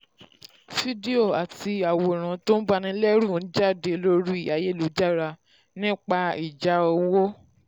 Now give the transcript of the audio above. fídíò àti àwòrán tó banilẹ́rù n jáde lórí ayélujára nípa ìjà owó.